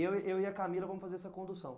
Eu e eu e a Camila vamos fazer essa condução.